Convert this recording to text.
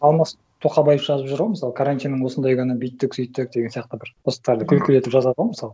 алмас тоқабаев жазып жүр ғой мысалы карантиннің осындай күні бүйттік сөйттік деген сияқты бір посттарды күлкілі етіп жазады ғой мысалы